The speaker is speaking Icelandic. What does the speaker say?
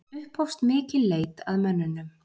Upphófst mikil leit að mönnunum